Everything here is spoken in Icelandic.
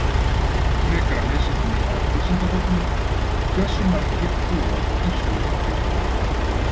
Frekara lesefni á Vísindavefnum: Hversu margir búa í Suður-Afríku?